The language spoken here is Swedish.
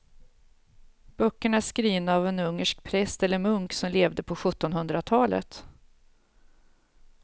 Böckerna är skrivna av en ungersk präst eller munk som levde på sjuttonhundratalet.